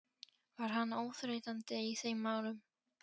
Var hann óþreytandi í þeim málum.